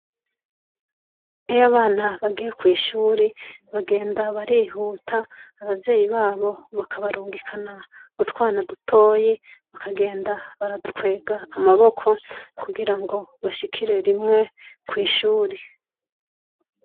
Iyo abana bagiye kw’ishure bagenda barihuta abavyeyi babo bakabarungikana utwana dutoyi, bakagenda baradukwega amaboko kugira ngo bashikire rimwe kw’ishure.